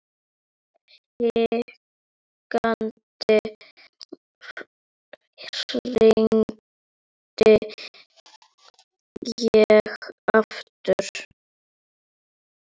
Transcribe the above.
Hikandi hringdi ég aftur.